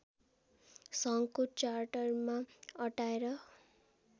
सङ्घको चार्टरमा अटाएर